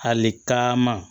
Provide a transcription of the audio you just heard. Hali taama